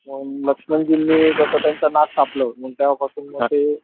मग लक्ष्मणजींनी जस त्यांचं नाक कापलं मग तेव्हा पासून मग ते,